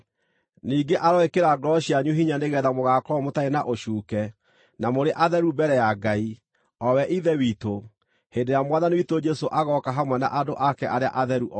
Ningĩ aroĩkĩra ngoro cianyu hinya nĩgeetha mũgaakorwo mũtarĩ na ũcuuke, na mũrĩ atheru mbere ya Ngai, o we Ithe witũ, hĩndĩ ĩrĩa Mwathani witũ Jesũ agooka hamwe na andũ ake arĩa atheru othe.